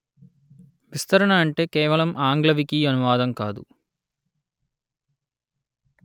విస్తరణ అంటే కేవలం ఆంగ్ల వికీ అనువాదం కాదు